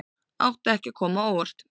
Átti ekki að koma á óvart